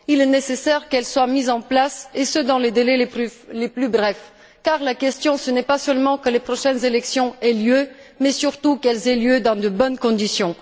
Il est nécessaire qu'elles soient mises en place, et ce, dans les délais les plus brefs car la question, ce n'est pas seulement que les prochaines élections aient lieu mais, surtout, qu'elles aient lieu dans de bonnes conditions.